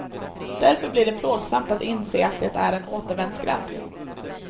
Därför blir det plågsamt att inse att det är en återvändsgränd.